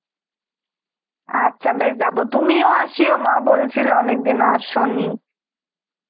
আচ্ছা বেশ যাব, তুমিও আসিও, মা বলছিল অনেকদিন আসনি.